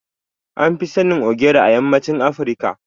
An fi sanin Ogiri a yammacin Afirka.